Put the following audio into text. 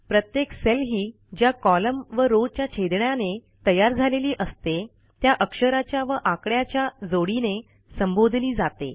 प्रत्येक सेल ही ज्या कॉलम व रो च्या छेदण्याने तयार झालेली असते त्या अक्षराच्या व आकड्याच्या जोडीने संबोधली जाते